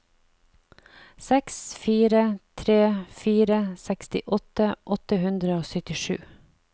seks fire tre fire sekstiåtte åtte hundre og syttisju